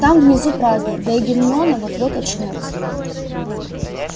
там внизу праздную да и гермиона вот-вот очнётся